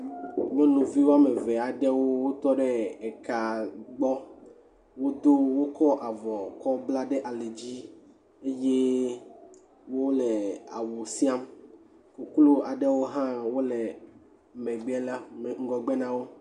Nyɔnuvi woame eve aɖewo tɔ ɖe eka gbɔ, wodo wokɔ avɔ kɔ bla ɖe ali dzi, eye wole awu siam, koklo aɖewo hã le megbe ŋgɔgbe na wo.